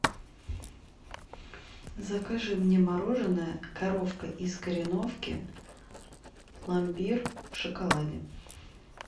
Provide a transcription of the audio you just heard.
закажи мне мороженое коровка из кореновки пломбир в шоколаде